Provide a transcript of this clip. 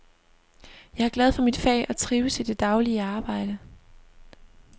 Jeg er glad for mit fag og trives i det daglige arbejde.